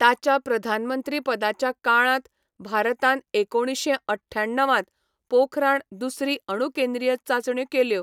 ताच्या प्रधानमंत्रीपदाच्या काळांत भारतान एकुणीशें अठ्याण्णव त पोखराण दुसरी अणुकेंद्रीय चांचण्यो केल्यो.